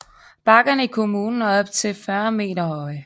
Bakkerne i kommunen er op til 40 meter høje